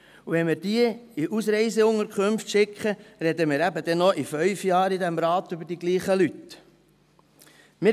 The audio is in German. Wenn wir diese in Ausreiseunterkünfte schicken, werden wir in diesem Rat eben noch in 5 Jahren über dieselben Leute reden.